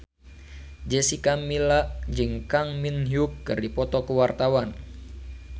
Jessica Milla jeung Kang Min Hyuk keur dipoto ku wartawan